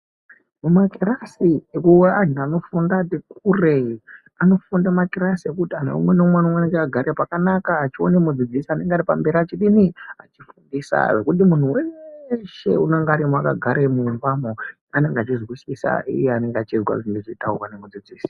Mu makirasi e anhu anofunda ne kure anofunda makirasi ekuti umwe nga umwe unonge akagara pakanaka achione mudzidzisi anenge ari pamberi achidi achi fundisa zvekuti muntu weshe unonga arimo aka gare mumba mo anenge achi zwisisa uye anenge achizwa zvinozo taurwa ne mudzidzisi.